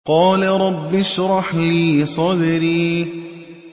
قَالَ رَبِّ اشْرَحْ لِي صَدْرِي